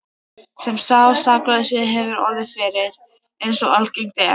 sem sá saklausi hefur orðið fyrir, eins og algengt er.